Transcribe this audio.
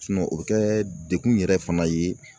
o bɛ kɛ degun yɛrɛ fana ye